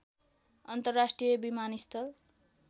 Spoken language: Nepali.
अन्तर्राष्ट्रिय विमानस्थल